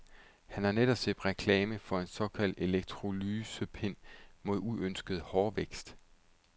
Han har netop set reklame for en såkaldt elektrolysepen mod uønsket hårvækst.